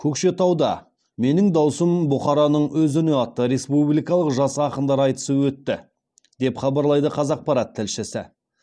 көкшетауда менің дауысым бұхараның өз үні атты республикалық жас ақындар айтысы өтті деп хабарлайды қазақпарат тілшісі